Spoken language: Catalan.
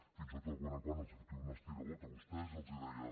fins i tot de tant en tant els fotia un estirabot a vostès i els deia